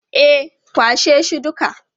E, kwashe shi duka.